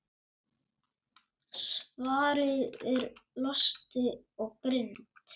Svarið er: Losti og girnd.